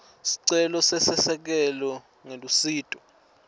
sicelo seselekelelo ngelusito